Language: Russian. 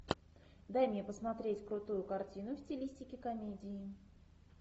дай мне посмотреть крутую картину в стилистике комедии